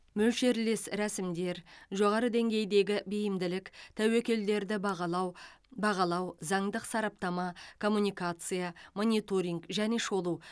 мөлшерлес рәсімдер жоғары деңгейдегі бейімділік тәуекелдерді бағалау бағалау заңдық сараптама коммуникация мониторинг және шолу